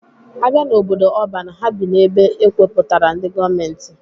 A bịa n'obodo ọban, ha bi n'ebe e kewepụtara ndị gọọmentị